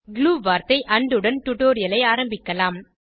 glue வார்த்தை and உடன் டுடோரியலை ஆரம்பிக்கலாம்